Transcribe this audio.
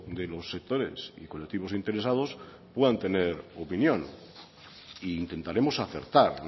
de los sectores y colectivos interesados puedan tener opinión e intentaremos acertar